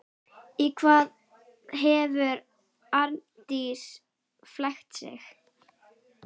Í hvað hefur Arndís flækt sig?